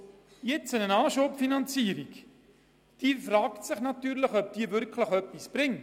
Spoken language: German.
Ob eine Anschubfinanzierung tatsächlich einen Nutzen bringt, ist fraglich.